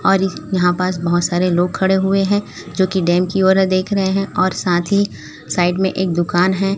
और इस यहां पास बहोत सारे लोग खड़े हुए हैं जो की डैम की ओर देख रहे हैं और साथ ही साईड में एक दुकान हैं।